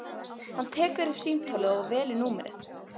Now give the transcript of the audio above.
Hann tekur upp símtólið og velur númerið.